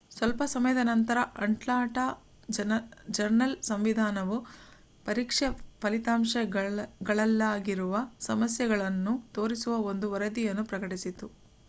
ಸ್ವಲ್ಪ ಸಮಯದ ನಂತರ ಅಟ್ಲಾಂಟಾ ಜರ್ನಲ್ ಸಂವಿಧಾನವು ಪರೀಕ್ಷೆ ಫಲಿತಾಂಶಗಳಲ್ಲಾಗಿರುವ ಸಮಸ್ಯೆಗಳನ್ನು ತೋರಿಸುವ ಒಂದು ವರದಿಯನ್ನು ಪ್ರಕಟಿಸಿತು